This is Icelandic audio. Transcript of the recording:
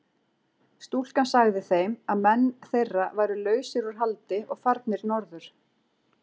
Stúlkan sagði þeim að menn þeirra væru lausir úr haldi og farnir norður.